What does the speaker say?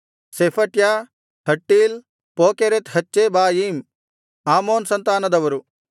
ಶೆಫಟ್ಯ ಹಟ್ಟೀಲ್ ಪೋಕೆರೆತ್ ಹಚ್ಚೆಬಾಯೀಮ್ ಆಮೋನ್ ಸಂತಾನದವರು